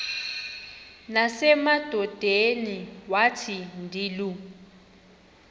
nasemadodeni wathi ndilu